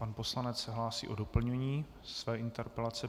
Pan poslanec se hlásí o doplnění své interpelace.